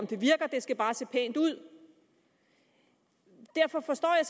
det skal bare se pænt ud derfor forstår jeg